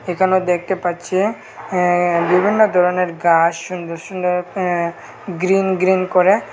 এখানে দেখতে পাচ্ছি অ্যা বিভিন্ন ধরনের গাস সুন্দর সুন্দর অ্যা গ্রীন গ্রীন গ্রীন করে।